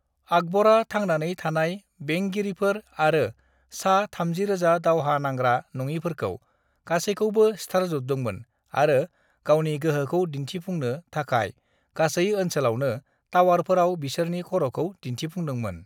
"आकबरा थांनानै थानाय बेंगिरिफोर आरो सा-30,000 दावहा नांग्रा नङिफोरखौ गासैखौबो सिथारजोबदोंमोन आरो गावनि गोहोखौ दिन्थिफुंनो थाखाय गासै ओनसोलावनो टावारफोराव बिसोरनि खर'खौ दिन्थिफुंदोंमोन।"